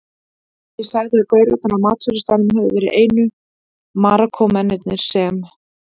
Ég sagði að gaurarnir á matsölustaðnum hefðu verið einu Marokkómennirnir sem